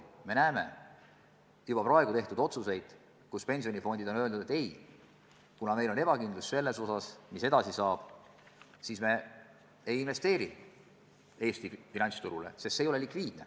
Me näeme juba praegu pensionifondide otsuseid, et kuna nad pole kindlad, mis edasi saab, siis nad ei investeeri Eesti finantsturule, sest see ei ole likviidne.